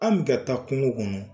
An mi ka taa kungo kɔnɔ